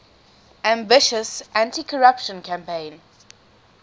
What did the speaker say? ambitious anticorruption campaign